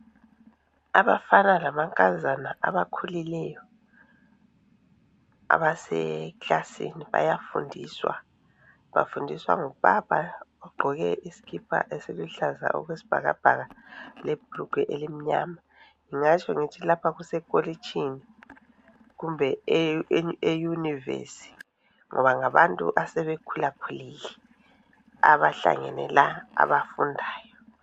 Abafana lamankazana abakhulileyo abaseclassin bayafundiswa bafundiswa ngubaba abagqoke isikipa esiluhlaza okwesibhakabhaka lebrugwe elimnyama ngingatsho ngithi lapha kusekolitshini kumbe eyunivesi ngoba abantu asebekhulakhulile abahlangene la abafundayo.